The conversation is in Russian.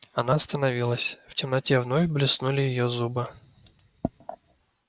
она остановилась в темноте вновь блеснули её зубы